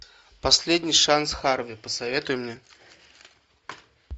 последний шанс харви посоветуй мне